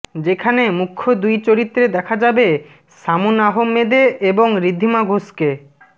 যেখানে মুখ্য দুই চরিত্রে দেখা যাবে শামুন আহমেদে এবং ঋদ্ধিমা ঘোষকে